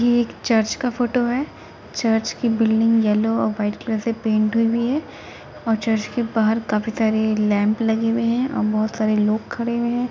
ये एक चर्च का फोटो है। चर्च के बिल्डिंग येल्लो और वाईट कलर से पेंट हुई हैं और चर्च के बाहर काफी सारे लैम्प लगे हुए हैं और बहोत सारे लोग खड़े हुए हैं।